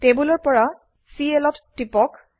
টেবোলৰ পৰা Clত টিপক